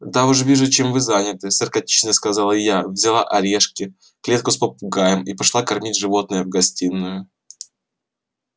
да уж вижу чем вы заняты саркастично сказала я взяла орешки клетку с попугаем и пошла кормить животное в гостиную